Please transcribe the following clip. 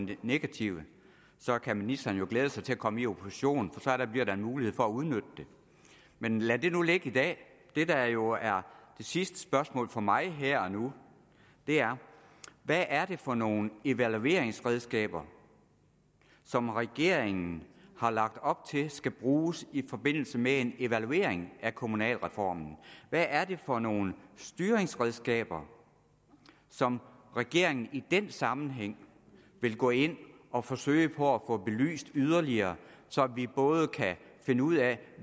lidt negative så kan ministeren jo glæde sig til at komme i opposition for så bliver der en mulighed for at udnytte det men lad det nu ligge i dag det der jo er det sidste spørgsmål fra mig her og nu er hvad er det for nogle evalueringsredskaber som regeringen har lagt op til skal bruges i forbindelse med en evaluering af kommunalreformen hvad er det for nogle styringsredskaber som regeringen i den sammenhæng vil gå ind og forsøge på at få belyst yderligere så vi både kan finde ud af